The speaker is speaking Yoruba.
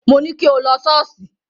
Mo ní kí o lọ ṣọ́ọ̀ṣì.